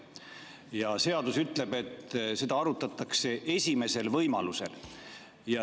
Ja seadus ütleb, et seda arutatakse esimesel võimalusel.